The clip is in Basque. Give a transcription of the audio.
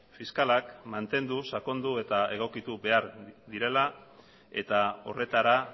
fiskalak mantendu sakondu eta egokitu behar direla eta horretara